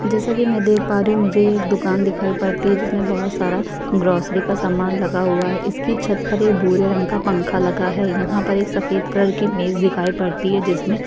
जैसे कि मैं देख पा रही हूँ मुझे एक दुकान दिखाई पड़ती है जिसमे बोहोत सारा ग्रोसरी का सामान लगा हुआ है। इसकी छत पर ये भूरे रंग का पंखा लगा है यहाँ पर एक सफ़ेद कलर की मेज दिखाई पड़ती है जिसमे --